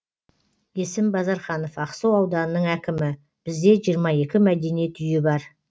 есім базарханов ақсу ауданының әкімі бізде жиырма екі мәдениет үйі бар